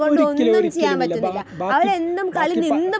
ഒരിക്കലും ഒരിക്കലുമില്ല. ബാ... ബാക് ... ബാക്കി പതി...